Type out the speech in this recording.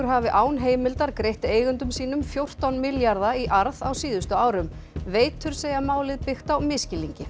hafi án heimildar greitt eigendum sínum fjórtán milljarða í arð á síðustu árum veitur segja málið byggt á misskilningi